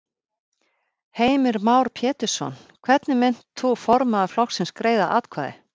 Heimir Már Pétursson: Hvernig munt þú formaður flokksins greiða atkvæði?